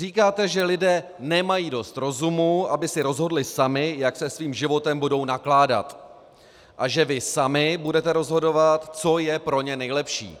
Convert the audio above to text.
Říkáte, že lidé nemají dost rozumu, aby si rozhodli sami, jak se svým životem budou nakládat, a že vy sami budete rozhodovat, co je pro ně nejlepší,